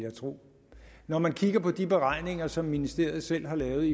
jeg tro når man kigger på de beregninger som ministeriet selv har lavet